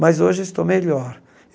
Mas hoje estou melhor.